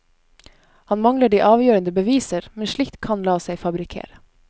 Han mangler de avgjørende beviser, men slikt kan la seg fabrikkere.